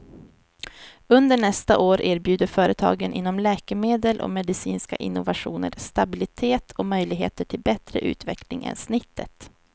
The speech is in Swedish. Under nästa år erbjuder företagen inom läkemedel och medicinska innovationer stabilitet och möjligheter till bättre utveckling än snittet.